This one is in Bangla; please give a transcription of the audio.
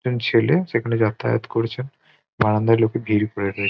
এবং ছেলে সেখানে যাতায়াত করছে। বারান্দায় লোকে ভিড় করে রয়ে--